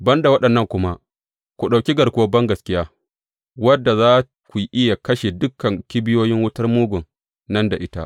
Ban da waɗannan kuma, ku ɗauki garkuwar bangaskiya, wadda za ku iya kashe dukan kibiyoyin wutar Mugun nan da ita.